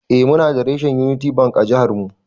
Eh Muna da reshen Unity Bank a jiha namu.